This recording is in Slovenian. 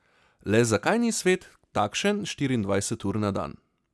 Le zakaj ni svet takšen štiriindvajset ur na dan?